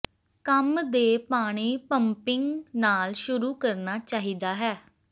ਕੰਮ ਦੇ ਪਾਣੀ ਪੰਪਿੰਗ ਨਾਲ ਸ਼ੁਰੂ ਕਰਨਾ ਚਾਹੀਦਾ ਹੈ